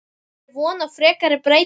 Er von á frekari breytingum?